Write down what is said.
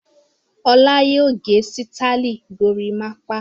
Ọlá yóò gẹ sítáálì gorímápá!